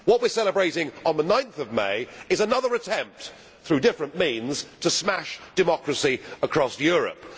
What we are celebrating on 9 May is another attempt, through different means, to smash democracy across Europe.